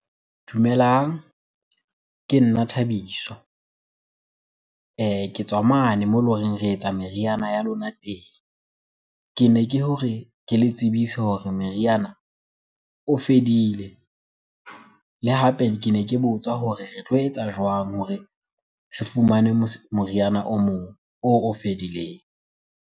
Dumelang, ke nna Thabiso. Ke tswa mane moo ele horeng re etsa meriana ya lona teng. Kene ke hore ke le tsebise hore re meriana o fedile. Le hape kene ke botsa hore re tlo etsa jwang hore re fumane moriana o mong, oo o fedileng?